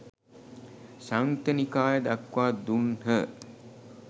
සංයුක්ත නිකාය දක්වා දුන්හ